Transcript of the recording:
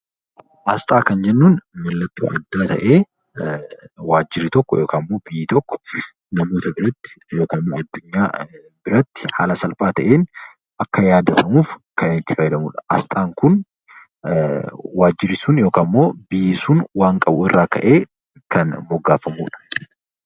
Asxaa kan jennuun mallattoo addaa ta'ee, waajjirri tokko yookaan biyyi tokko biyyoota ollaa biratti haala salphaa ta'een akka yaadatamuuf kan itti fayyadamnudha. Asxaan Kun waajjirri sun yookaan biyyi sun wayi irraa ka'ee kan moggaafamuudha.